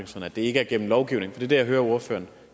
det ikke er gennem lovgivning det er det jeg hører ordføreren